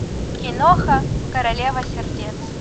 киноха королева сердец